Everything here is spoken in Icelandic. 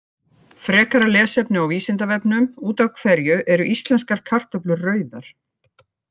Frekara lesefni á Vísindavefnum: Út af hverju eru íslenskar kartöflur rauðar?